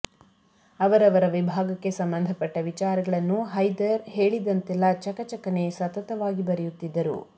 ಅವರವರ ವಿಭಾಗಕ್ಕೆ ಸಂಬಂಧಪಟ್ಟ ವಿಚಾರಗಳನ್ನು ಹೈದರ್ ಹೇಳಿದಂತೆಲ್ಲ ಚಕಚಕನೆ ಸತತವಾಗಿ ಬರೆಯುತ್ತಿದ್ದರು